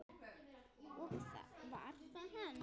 Og var það hann?